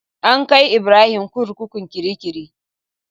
An kai Ibrahim kurkukun kirikiri.